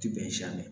Ti bɛn si ma